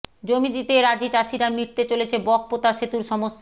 জমি দিতে রাজি চাষিরা মিটতে চলেছে বকপোতা সেতুর সমস্যা